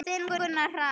Þinn Gunnar Hrafn.